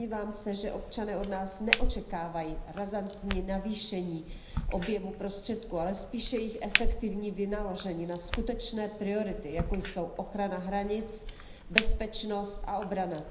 Domnívám se, že občané od nás neočekávají razantní navýšení objemu prostředků, ale spíše jejich efektivní vynaložení na skutečné priority, jako jsou ochrana hranic, bezpečnost a obrana.